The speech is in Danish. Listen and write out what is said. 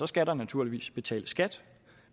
skal der naturligvis betales skat